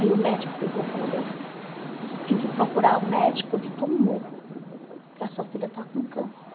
Aí o médico pegou e falou bem assim, você tem que procurar o médico de tumor, porque a sua filha está com câncer.